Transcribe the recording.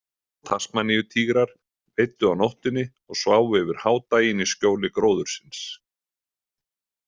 Tasmaníutígrar veiddu á nóttinni og sváfu yfir hádaginn í skjóli gróðursins.